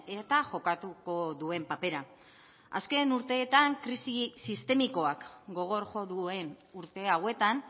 eta jokatuko duen papera azken urteetan krisi sistemikoak gogor jo duen urte hauetan